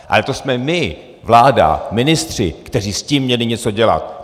Ale to jsme my, vláda, ministři, kteří s tím měli něco dělat!